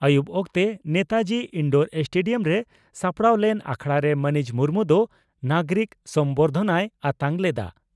ᱟᱹᱭᱩᱵᱽ ᱚᱠᱛᱮ ᱱᱮᱛᱟᱡᱤ ᱤᱱᱰᱳᱨ ᱥᱴᱮᱰᱤᱭᱟᱢ ᱨᱮ ᱥᱟᱯᱲᱟᱣ ᱞᱮᱱ ᱟᱠᱷᱲᱟᱨᱮ ᱢᱟᱹᱱᱤᱡ ᱢᱩᱨᱢᱩ ᱫᱚ ᱱᱟᱜᱚᱨᱤᱠ ᱥᱚᱢᱵᱚᱨᱫᱷᱚᱱᱟᱭ ᱟᱛᱟᱝ ᱞᱮᱫᱼᱟ ᱾